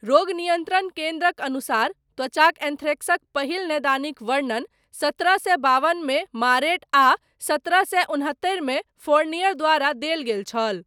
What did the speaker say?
रोग नियन्त्रण केन्द्रक अनुसार, त्वचाक एन्थ्रेक्सक, पहिल नैदानिक वर्णन, सतरह सए बावनमे मारेट, आ सतरह सए उनहत्तरिमे, फोरनियर द्वारा देल गेल छल।